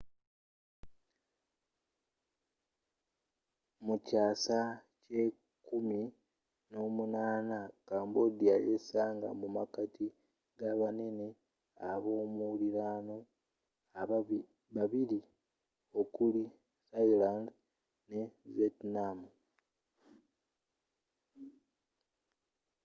mu kyasa ky'ekumi n'omunana 18th cambodia yesanga mu makati g'abanene abomuliraano babili okuli thailand ne vietnam